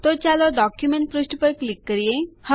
તો ચાલો ડોક્યુંમેન્ટ પુષ્ઠ પર ક્લિક કરીએ